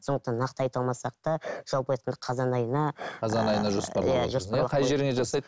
сондықтан нақты айта алмасақ та жалпы айтқанда қазан айына қай жеріңе жасайды